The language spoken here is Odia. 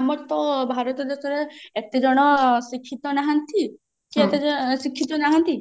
ଆମର ତ ଭାରତ ଦେଶରେ ଏତେ ଜଣ ଶିକ୍ଷିତ ନାହାନ୍ତି ଶିକ୍ଷିତ ନାହାନ୍ତି